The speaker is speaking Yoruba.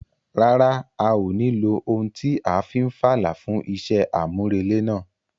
Rárá, a ò ní lo ohun tí a fi n fàlà fún iṣẹ́ àmúrelé náà.